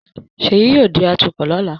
Ṣèyí yóò di atukọ̀ lọ́la